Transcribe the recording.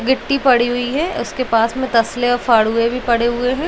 गिट्टी पड़ी हुई है। उसके पास में तसले औ फड़ुए भी पड़े हुए हैं।